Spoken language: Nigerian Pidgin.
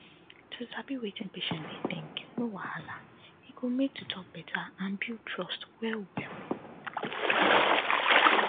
to sabi wetin patient dey think no wahala e go make to talk better and build trust well well